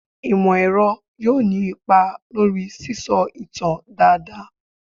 Imọ-ẹrọ yoo ni ipa lori sisọ itan daadaa